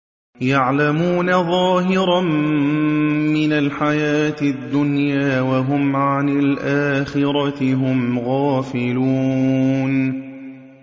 يَعْلَمُونَ ظَاهِرًا مِّنَ الْحَيَاةِ الدُّنْيَا وَهُمْ عَنِ الْآخِرَةِ هُمْ غَافِلُونَ